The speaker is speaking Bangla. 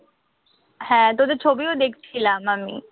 হ্যাঁ তোদের ছবিও দেখছিলাম আমি।